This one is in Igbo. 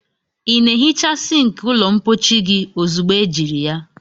Ị na-ehicha sink ụlọ mpochi gị ozugbo ejiri ya?